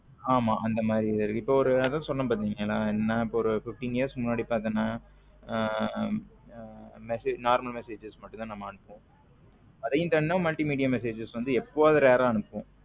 ஆமா அம்த இப்போ ஒன்னு சொன்னேன் பாத்திங்களா என்ன ஒரு fifteen years முன்னாடி பாத்தின ஹம் message normal message மட்டும் தான் நம்ம ஆதியும் தாண்டி multimedia message எப்போவது rare ஆ ஆணுபுவோம்